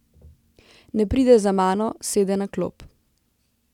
Ne pride za mano, sede na klop.